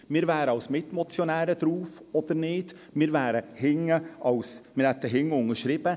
wir wären als Mitmotionäre aufgeführt oder nicht, wir hätten hinten unterschrieben.